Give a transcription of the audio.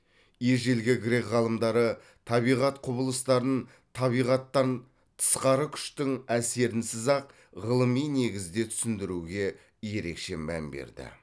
ежелгі грек ғалымдары табиғат құбылыстарын табиғаттан тысқары күштің әсерінсіз ақ ғылыми негізде түсіндіруге ерекше мән берді